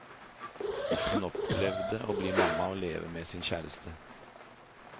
Hun opplevde å bli mamma og leve med sin kjæreste.